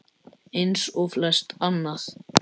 Eins og flest annað.